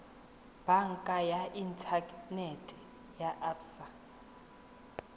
banka ya inthanete ya absa